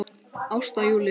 Ásta Júlía.